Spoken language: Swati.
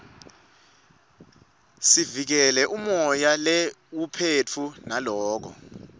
siuikele umoya leiwuphefu nulako